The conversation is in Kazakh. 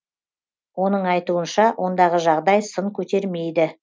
оның айтуынша ондағы жағдай сын көтермейді